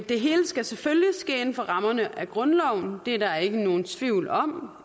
det hele skal selvfølgelig ske inden for rammerne af grundloven det er der ikke nogen tvivl om